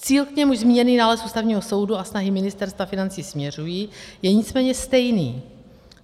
Cíl, k němuž zmíněný nález Ústavního soudu a snahy Ministerstva financí směřují, je nicméně stejný.